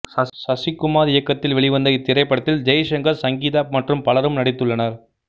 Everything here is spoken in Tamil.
சசிகுமார் இயக்கத்தில் வெளிவந்த இத்திரைப்படத்தில் ஜெய்சங்கர் சங்கீதா மற்றும் பலரும் நடித்துள்ளனர்